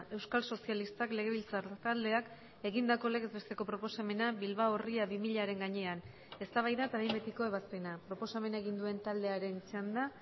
euskal sozialistak legebiltzar taldeak egindako legez besteko proposamena bilbao ría bi milaren gainean eztabaida eta behin betiko ebazpena proposamena egin duen taldearen txanda